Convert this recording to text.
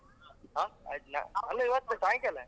ಹಾ ಅಲ್ಲಾ ಇವತ್ತು ಸಾಯಂಕಾಲ.